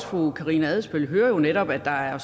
fru karina adsbøl hører jo netop at der er